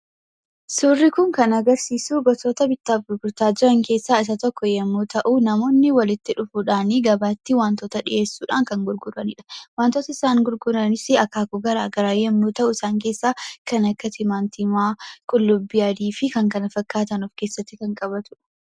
Suurri kun kan agarsiisu gosoota bittaaf gurgurtaa keessaa tokko yoo ta’u, namootni walitti dhufuudhaan waan tokko gabaatti dhiyeessuudhaan kan gurguranidha. Wantoonni isaan gurguranis akaakuu gara garaa yoo ta'u wantoota akka timaatumaa, qullubbii adii fi kan kana fakkaatan kan of keessatti qabatudha.